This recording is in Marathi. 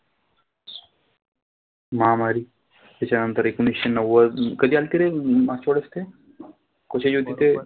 महामारी त्याच्यानंतर एकोणिशे नव्वद कधी आलती रे मागच्या वेळेस ते? कशाची होती ते?